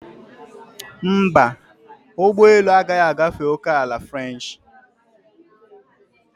Mba, ụgbọ elu agaghị agafe ókèala french.